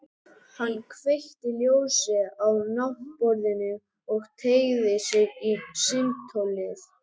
Hann kveikti ljósið á náttborðinu og teygði sig í símtólið.